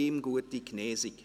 Auch ihm gute Genesung.